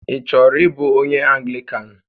Ị chọrọ ịbụ onyé Anglịkan?